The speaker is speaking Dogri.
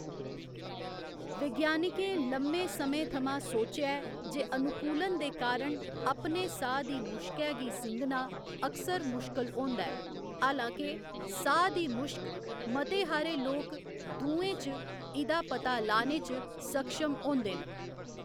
विज्ञानिकें लम्मे समें थमां सोचेआ ऐ जे अनुकूलन दे कारण अपने साह् दी मुश्कै गी सिंघना अक्सर मुश्कल होंदा ऐ, हालांके साह् दी मुश्क मते हारे लोक दुएं च इ'दा पता लाने च सक्षम होंदे न।